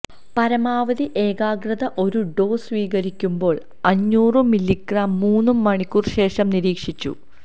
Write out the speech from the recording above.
പരമാവധി ഏകാഗ്രത ഒരു ഡോസ് സ്വീകരിക്കുമ്പോൾ അഞ്ഞൂറു മില്ലിഗ്രാം മൂന്നു മണിക്കൂർ ശേഷം നിരീക്ഷിച്ചു